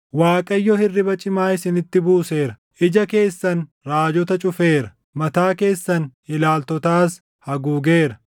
Waaqayyo hirriba cimaa isinitti buuseera; ija keessan raajota, cufeera; mataa keessan ilaaltootas, haguugeera.